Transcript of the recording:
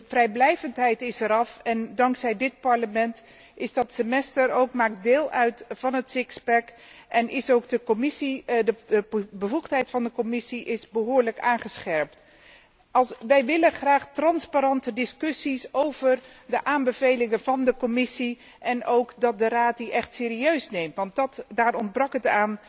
De vrijblijvendheid is eraf en dankzij dit Parlement maakt dat Semester ook deel uit van het en is ook de bevoegdheid van de Commissie behoorlijk aangescherpt. Wij willen graag transparante discussies over de aanbevelingen van de Commissie en ook dat de Raad die echt serieus neemt, want daar ontbrak het